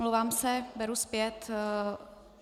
Omlouvám se, beru zpět.